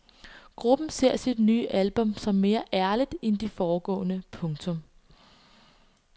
Gruppen ser sit nye album som mere ærligt end de foregående. punktum